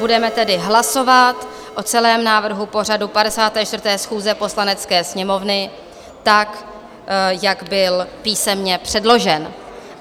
Budeme tedy hlasovat o celém návrhu pořadu 54. schůze Poslanecké sněmovny tak, jak byl písemně předložen.